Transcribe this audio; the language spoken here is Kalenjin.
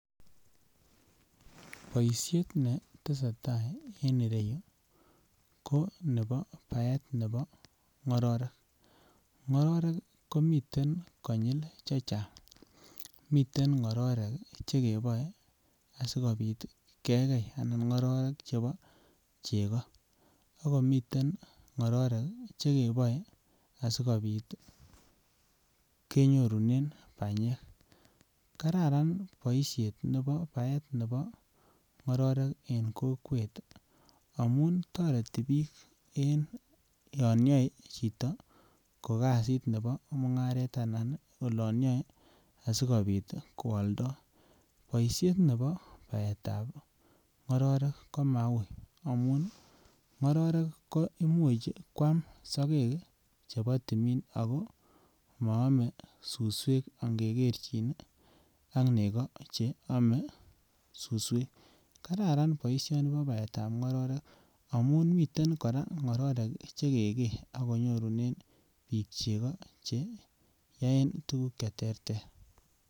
Boishet netesetai en ireyu ko nebo baet nebo ngororek, ngororek komiten konyil chechang miten ngororek che keboe asikopit kegei anan ngororek chebo chego, akomiten ngororek che keboe asikopit ii kenyorunen banyek. Kararan boishet nebo baet nebo ngororek en kokwet amun toreti biik en yon yoe chito ko kazit nebo mungaret anan olon yon asikopit ko oldo. Boishet nebo baetab ngororek ko maui amun ngororek imuch ii kwam sogek chebo timin ako moome suswek nge kerchin ak nego che ome suswek. Kararan boisioni bo baetab ngororek amun miten koraa ngororek che kegee akenyoruren biik chego che yoen tuguk che terter